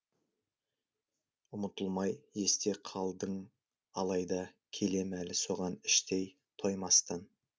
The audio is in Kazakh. ұмытылмай есте қалдың алайда келем әлі соған іштей тоймастан